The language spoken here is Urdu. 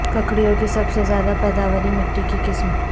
ککڑیوں کی سب سے زیادہ پیداواری مٹی کی قسم